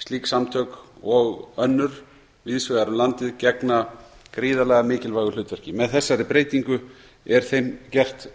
slík samtök og önnur víðs vegar um landið gegna gríðarlega mikilvægu hlutverki með þessari breytingu er þeim gert